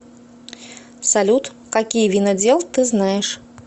салют какие винодел ты знаешь